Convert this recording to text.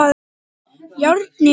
Járnið hann!